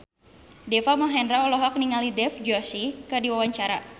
Deva Mahendra olohok ningali Dev Joshi keur diwawancara